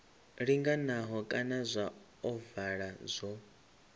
linganaho kana zwa ovala zwo